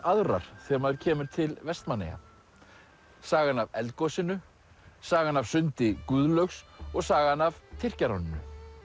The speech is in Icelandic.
aðrar þegar maður kemur til Vestmannaeyja sagan af eldgosinu sagan af sundi Guðlaugs og sagan af Tyrkjaráninu